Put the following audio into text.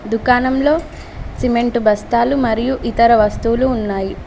దుకాణంలో సిమెంటు బస్తాలు మరియు ఇతర వస్తువులు ఉన్నాయి.